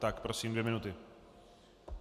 Tak prosím, dvě minuty.